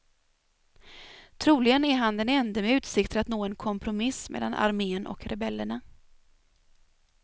Troligen är han den ende med utsikter att nå en kompromiss mellan armén och rebellerna.